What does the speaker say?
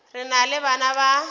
re na le bana ba